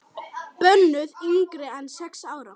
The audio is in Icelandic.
Bönnuð yngri en sex ára.